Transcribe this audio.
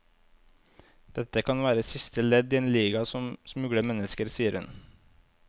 Dette kan være siste ledd i en liga som smugler mennesker, sier hun.